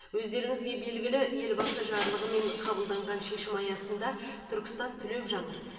өздеріңізге белгілі елбасы жарлығымен қабылданған шешім аясында түркістан түлеп жатыр